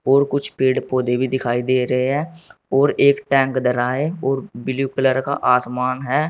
और कुछ पेड़ पौधे भी दिखाई दे रहे हैं और एक टैंक धरा है और ब्लू कलर का आसमान है।